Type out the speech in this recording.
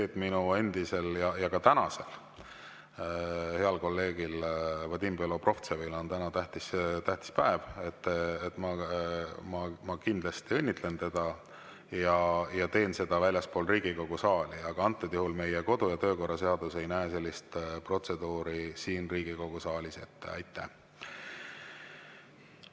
Kui minu endisel ja tänasel heal kolleegil Vadim Belobrovtsevil on täna tähtis päev, siis ma kindlasti õnnitlen teda ja teen seda väljaspool Riigikogu saali, aga antud juhul ei näe meie kodu‑ ja töökorra seadus sellist protseduuri siin Riigikogu saalis ette.